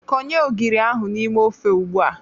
Konye ogiri ahụ n'ime ofe ugbua!